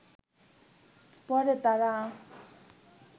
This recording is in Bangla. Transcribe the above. পড়ে তাঁরা